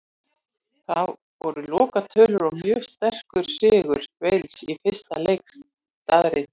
Það voru lokatölur og mjög sterkur sigur Wales í fyrsta leik staðreynd.